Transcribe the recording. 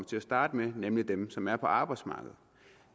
til at starte med nemlig dem som er på arbejdsmarkedet